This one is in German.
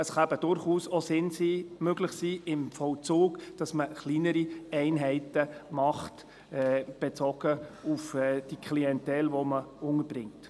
Im Vollzug kann es eben durchaus auch möglich sein, dass man kleinere Einheiten macht, bezogen auf die Klientel, die man bringt.